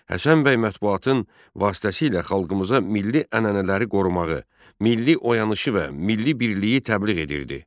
Həsən bəy mətbuatın vasitəsilə xalqımıza milli ənənələri qorumağı, milli oyanışı və milli birliyi təbliğ edirdi.